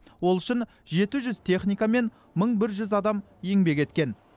ол үшін жеті жүз техника мен мың бір жүз адам еңбек еткен